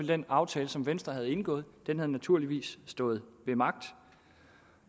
den aftale som venstre havde indgået naturligvis stået ved magt